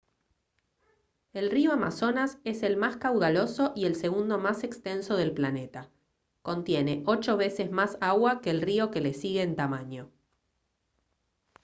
el río amazonas es el más caudaloso y el segundo más extenso del planeta contiene 8 veces más agua que el río que le sigue en tamaño